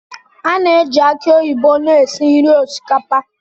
A na-eji aki oyibo na-esi nri osikapa.